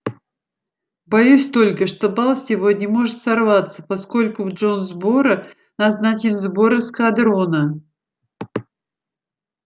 боюсь только что бал сегодня может сорваться поскольку в джонсборо назначен сбор эскадрона